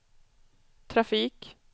trafik